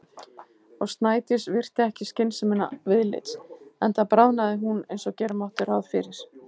Og Snædís virti ekki skynsemina viðlits- enda bráðnaði hún eins og gera mátti ráð fyrir.